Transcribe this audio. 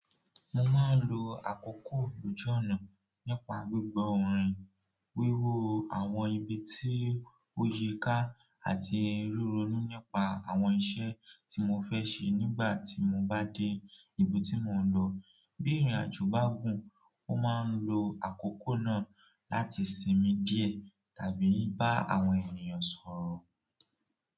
Mo máa ń lò àkókò lójú ọ̀nà nípa gbígbọ́ orin, bíi irú àwọn ibi tí o yí ká àti rí ronú nípa àwọn iṣẹ́ tí mo fẹ́ ṣe nígbà tí mo bá dé ibi tí mo ń lọ. Bí ìrìnàjò bá gùn, mo máa ń lò àkókò náà láti sinmi díẹ̀ tàbí bá àwọn ènìyàn sọ̀rọ̀.